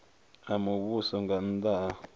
a muvhuso nga nnda ha